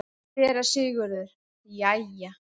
SÉRA SIGURÐUR: Jæja!